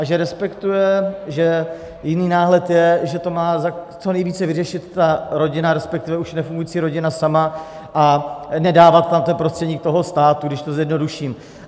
A že respektuje, že jiný náhled je, že to má co nejvíce vyřešit ta rodina, respektive už nefungující rodina sama, a nedávat tam ten prostředník toho státu, když to zjednoduším.